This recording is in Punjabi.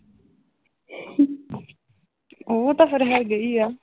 ਉਹ ਤਾਂ ਫਿਰ ਹੈਗੇ ਹੀ ਆ।